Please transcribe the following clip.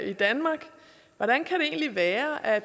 i danmark hvordan kan det egentlig være at